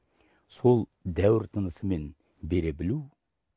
сол дәуір тынысымен бере білу